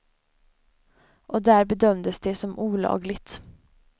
Och där bedömdes det som olagligt.